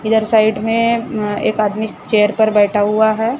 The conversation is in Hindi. इधर साइड में अं एक आदमी चेयर पर बैठा हुआ है।